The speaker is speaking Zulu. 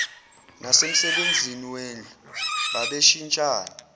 nasemsebenzini wendlu babeshintshana